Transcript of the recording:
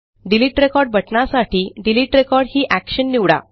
delete record बटणासाठी delete record ही Actionनिवडा